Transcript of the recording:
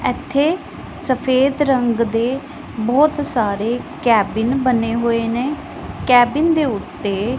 ਇੱਥੇ ਸਫੇਦ ਰੰਗ ਦੇ ਬਹੁਤ ਸਾਰੇ ਕੈਬਿਨ ਬਣੇ ਹੋਏ ਨੇ ਕੈਬਿਨ ਦੇ ਉੱਤੇ--